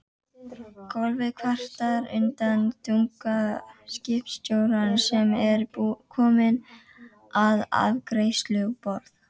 Gólfið kvartar undan þunga skipstjórans sem er kominn að afgreiðsluborð